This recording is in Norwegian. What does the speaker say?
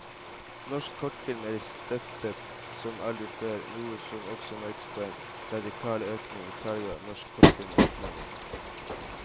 Norsk kortfilm er i støtet som aldri før, noe som også merkes på en radikal økning i salget av norsk kortfilm til utlandet.